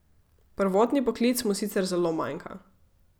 Prvotni poklic mu sicer zelo manjka.